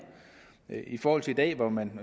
i forhold til i dag hvor man